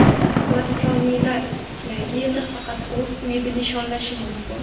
Nasroniylar Yangi yilni faqat o‘z uyida nishonlashi mumkin.